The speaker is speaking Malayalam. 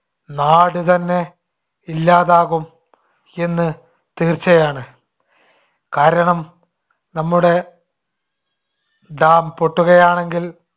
നാടുതന്നെ ഇല്ലാതാകും എന്ന് തീർച്ചയാണ്. കാരണം നമ്മുടെ dam പൊട്ടുകയാണെങ്കിൽ